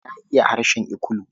Na iya harshen Ikulu.